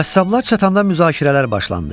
Qəssablar çatanda müzakirələr başlandı.